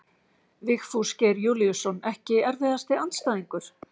Vigfús Geir Júlíusson Ekki erfiðasti andstæðingur?